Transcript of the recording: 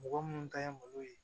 Mɔgɔ minnu ta ye malo ye